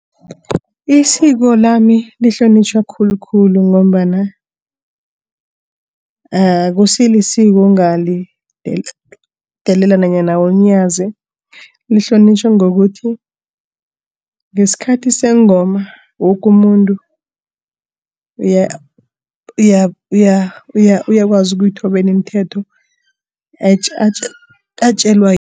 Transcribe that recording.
Isiko lami lihlonitjhwa khulukhulu ngombana akusilisiko ongalidelela nanyana ulinyaze. Lihlonitjhwa ngokuthi ngesikhathi sengoma woke umuntu uyakwazi ukuyithobela imithetho atjelwa